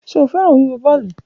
Ṣe o fẹran wiwo bọọlu?